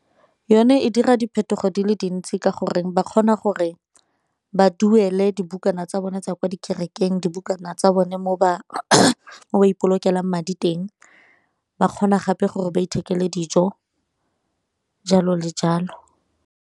Yone e dira diphetogo di le dintsi ka gore ba kgona goreng ba duele dibukana tsa bone tsa kwa dikerekeng, dibukana tsa bone mo ba ipolokela madi teng, ba kgona gape gore ba ithekele dijo jalo le jalo.